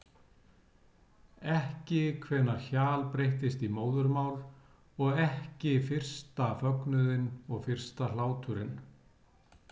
Ekki hvenær hjal breyttist í móðurmál og ekki fyrsta fögnuðinn og fyrsta hláturinn.